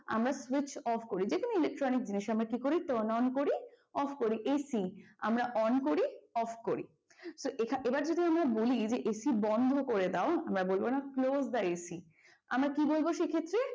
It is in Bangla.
আমরা switch off করি যে কোন electronic জিনিস আমরা কি করি turn on করি off করি AC আমরা on করি off করি। তো এবার যদি আমরা বলি যে AC বন্ধ করে দাও আমরা বলবো না close the AC আমরা কি বলব সে ক্ষেত্রে?